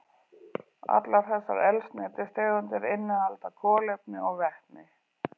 Allar þessar eldsneytistegundir innihalda kolefni og vetni.